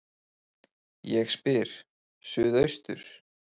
Ég spyr: Suðaustur